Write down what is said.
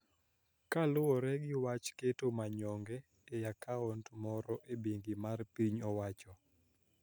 Kaluwore gi wach keto manyonge e akaunt moro e bengi mar piny owacho